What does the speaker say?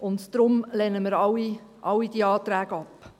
Deshalb lehnen wir alle diese Anträge ab.